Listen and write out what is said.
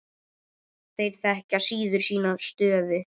Þeir þekkja síður sína stöðu.